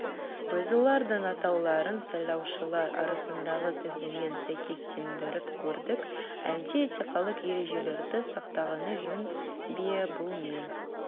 біз олардың атауларын сайлаушылар арасындағы тізіммен сәйкестендіріп көрдік әлде этикалық ережелерді сақтағаны жөн бе бұл мен